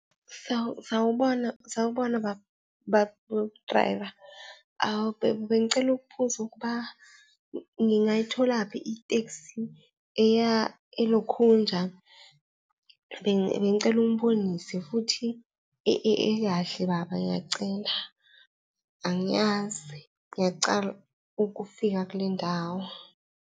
Sawubona, sawubona baba u-driver bengicela ukubuza ukuba ngingayitholaphi itekisi eya elokhunja. Bengicela ungibonise futhi ekahle baba ngiyacela, angiyazi. Ngiyacala ukufika kule ndawo.